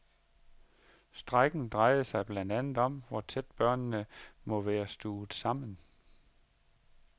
Strejken drejede sig blandt andet om, hvor tæt børnene må være stuvet sammen.